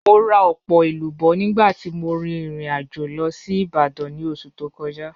Mo ra ọpọ elubo nigba ti mo rin irin ajo lọ si Ibadan ni oṣu to kọja.